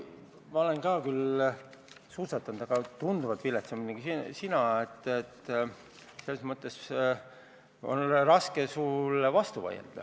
Ma olen samuti suusatanud, aga tunduvalt viletsamini kui sina, nii et selles mõttes on raske sulle vastu vaielda.